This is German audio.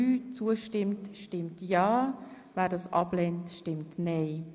Wer dieser zustimmt, stimmt ja, wer sie ablehnt, stimmt nein.